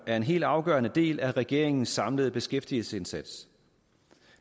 er en helt afgørende del af regeringens samlede beskæftigelsesindsats